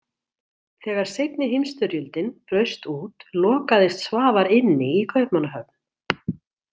Þegar seinni heimsstyrjöldin braust út lokaðist Svavar inni í Kaupmannahöfn.